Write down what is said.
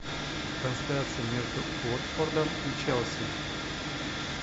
трансляция между уотфордом и челси